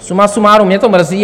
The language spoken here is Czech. Suma sumárum, mě to mrzí.